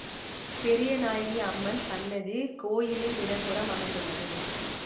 பெரியநாயகி அம்மன் சன்னதி கோயிலின் இட புறம் அமைந்துள்ளது